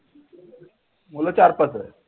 मुलं चार-पाच च